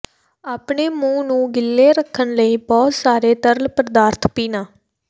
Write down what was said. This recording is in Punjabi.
ਆਪਣੇ ਮੂੰਹ ਨੂੰ ਗਿੱਲੇ ਰੱਖਣ ਲਈ ਬਹੁਤ ਸਾਰੇ ਤਰਲ ਪਦਾਰਥ ਪੀਣਾ